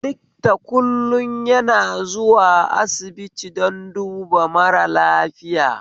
Likta kullm yana zuwa asibiti don duba mara lafiya